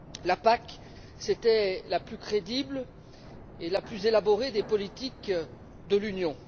La PAC, c'était la plus crédible et la plus élaborée des politiques de l'Union.